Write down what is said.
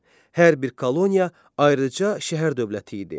Hər bir koloniya ayrıca şəhər dövləti idi.